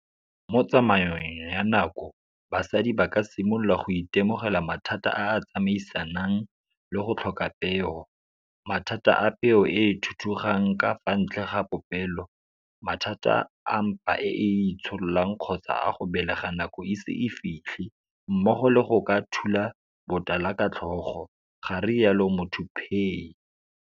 Mo tsamaong ya nako basadi ba ka simolola go itemogela mathata a a tsamaisanang le go tlhoka peo, mathata a peo e e thuthugang ka fa ntle ga popelo, mathata a mpa e e itshololang kgotsa a go belega nako e ise e fitlhe mmogo le go ka thula botala ka tlhogo, garialo Muthuphei.